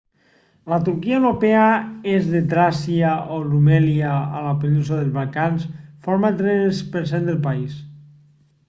la turquia europea est de tràcia o rumèlia a la península dels balcans forma el 3% del país